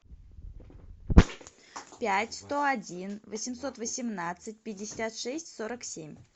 пять сто один восемьсот восемнадцать пятьдесят шесть сорок семь